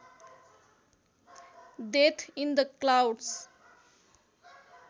death in the clouds